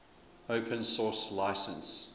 open source license